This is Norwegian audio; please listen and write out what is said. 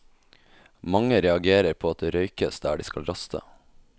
Mange reagerer på at det røykes der de skal raste.